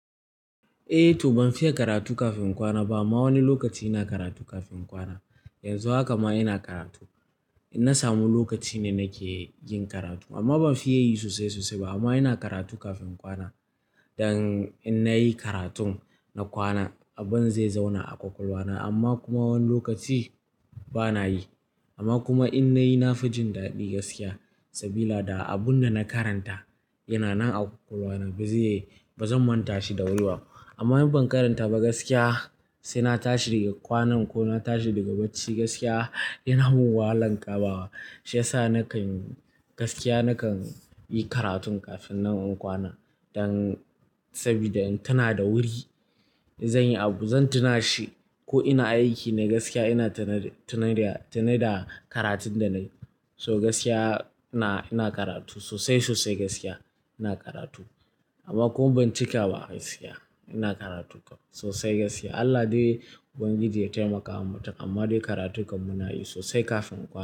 Eh to ban fiye karatu kafin in kwana ba amma wani lokaci ina karatu kafin in kwana. Yanzu haka ma ina karatu. In na samu lokaci ne nake yin karatu amma ban fiye yi sosai sosai ba amma ina karatu kafin kwana. Dan in nayi karatun na kwana abun zai zauna a kwakwalwa na amma kuma wani lokaci bana yi. Amma kuma in nayi na fi jin daɗi gaskiya sabida abun da na karanta yana nan a kwakwalwa na. Bazan manta shi da wuri ba. Amma in ban karanta ba gaskiya sai na tashi daga kwanan ko na tashi daga bacci gaskiya yana mun wahalan kamawa. Shi yasa nakan gaskiya nakan yi karatun kafin nan in kwana dan sabida in tuna da wuri zan yi abu zan tuna shi ko ina aiki ne gaskiya ina tune, tune da karatun da na yi. So gaskiya ina, ina karatu sosai sosai gaskiya ina karatu amma kuma ban cika ba gaskiya ina karatu sosai gaskiya. Allah dai Ubangiji ya taimaka wa mutum amma dai karatun dai karatu kam muna yi sosai kafin kwana.